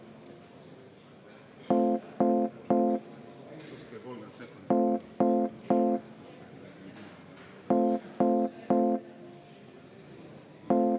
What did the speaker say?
Aitäh, lugupeetud juhataja!